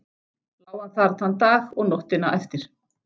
Lá hann þar þann dag og nóttina eftir.